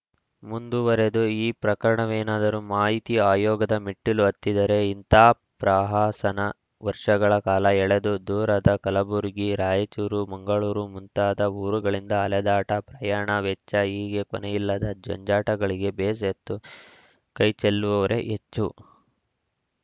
ಮುಂದುವರಿದು ಈ ಪ್ರಕರಣವೇನಾದರೂ ಮಾಹಿತಿ ಆಯೋಗದ ಮೆಟ್ಟಿಲು ಹತ್ತಿದರೆ ಇಂತ ಪ್ರಹಸನ ವರ್ಷಗಳ ಕಾಲ ಎಳೆದು ದೂರದ ಕಲಬುರಗಿ ರಾಯಚೂರು ಮಂಗಳೂರು ಮುಂತಾದ ಊರುಗಳಿಂದ ಅಲೆದಾಟ ಪ್ರಯಾಣ ವೆಚ್ಚ ಹೀಗೆ ಕೊನೆಯಿಲ್ಲದ ಜಂಜಾಟಗಳಿಗೆ ಬೇಸತ್ತು ಕೈಚೆಲ್ಲುವವರೇ ಹೆಚ್ಚು